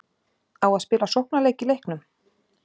Á að spila sóknarleik í leiknum?